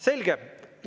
Selge!